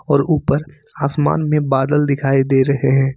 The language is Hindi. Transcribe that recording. और ऊपर आसमान में बादल दिखाई दे रहे हैं।